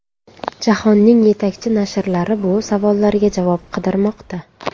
Jahonning yetakchi nashrlari bu savollarga javob qidirmoqda.